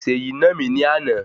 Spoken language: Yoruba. Seyi nà mí ní àna